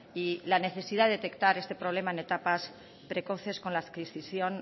y la necesidad de detectar este problema en etapas precoces con la adquisición